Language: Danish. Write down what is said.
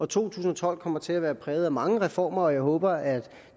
to tusind og tolv kommer til at være præget af mange reformer og jeg håber at